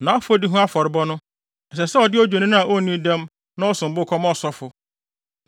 Nʼafɔdi ho afɔrebɔde no sɛ ɔde odwennini a onni dɛm na ɔsom bo kɔma ɔsɔfo.